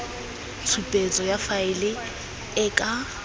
tshupetso ya faele e ka